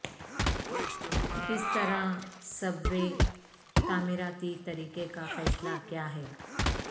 کس طرح subway تعمیراتی طریقہ کا فیصلہ کیا ہے